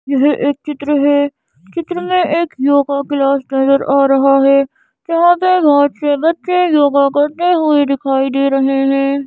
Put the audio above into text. यह एक चित्र है चित्र में एक योगा क्लास नजर आ रहा है जहाँ पे बहुत से बच्चे योगा करते हुए दिखाई दे रहे है।